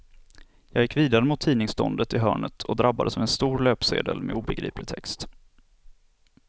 Jag gick vidare mot tidningsståndet i hörnet och drabbades av en stor löpsedel med obegriplig text.